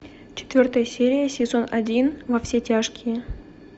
четвертая серия сезон один во все тяжкие